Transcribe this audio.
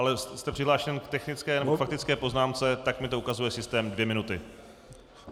Ale jste přihlášen k technické nebo faktické poznámce, tak mi to ukazuje systém - dvě minuty.